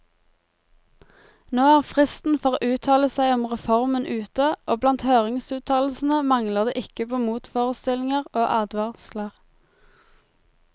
Nå er fristen for å uttale seg om reformen ute, og blant høringsuttalelsene mangler det ikke på motforestillinger og advarsler.